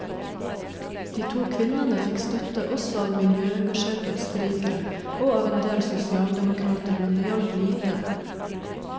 De to kvinnene fikk støtte også av miljøengasjerte østerrikere og av en del sosialdemokrater, men det hjalp lite.